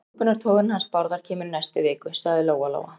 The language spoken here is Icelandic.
Nýsköpunartogarinn hans Bárðar kemur í næstu viku, sagði Lóa Lóa.